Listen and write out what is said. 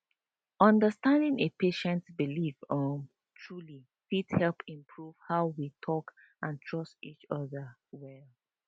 understanding a patients beliefs um truly fit help improve how we talk and trust each other well